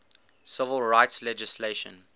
civil rights legislation